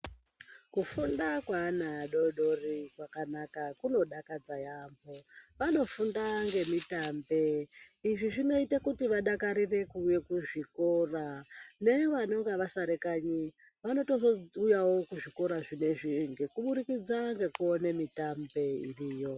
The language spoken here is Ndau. Kufunda kweana adodori kwakanaka kunodakadza yaambo. Vanofunda ngemitambe izvi zvinota kuti vadakarire kuuya kuzvikora nevanonga vasara kanyi vanotozouyavo kuzvikora zvinezvi kuburikidza ngekuone mitambo iriyo.